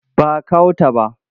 Ba a kawo ta ba.